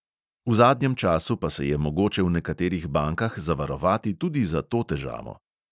V zadnjem času pa se je mogoče v nekaterih bankah zavarovati tudi za to težavo.